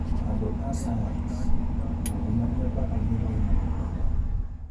Andũ a science: Ungumania bado ni thina mũnene.